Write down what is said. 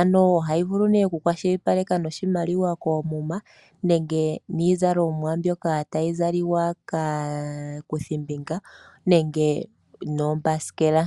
ano ohayi vulu ne oku kwa shili paleka noshimaliwa koomuma nenge nii zalomwa mbyoka tayi zaliwa kaa kuthi mbinga nenge noo mbasikela.